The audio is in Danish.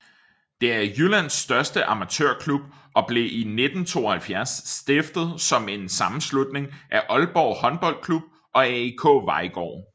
Det er Jyllands største amatørklub og blev i 1972 stiftet som en sammenslutning af Aalborg Håndboldklub og AIK Vejgaard